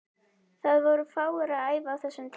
Það voru fáir að æfa á þessum tíma.